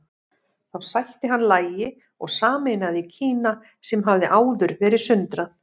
Þá sætti hann lagi og sameinaði Kína sem hafði áður verið sundrað.